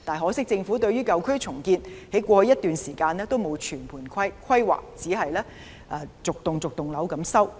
可惜在過去一段時間政府對於舊區重建沒有全盤規劃，只是逐幢樓宇收購。